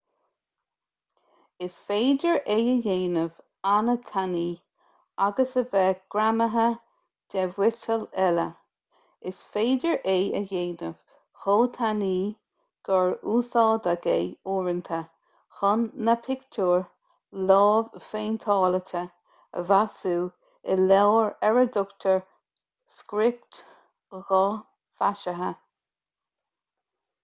is féidir é a dhéanamh an-tanaí agus a bheith greamaithe de mhiotal eile is féidir é a dhéanamh chomh tanaí gur úsáideadh é uaireanta chun na pictiúir lámhphéinteáilte a mhaisiú i leabhair ar a dtugtar script dhathmhaisithe